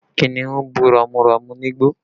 Kìnnìún bú ramúramù nígbó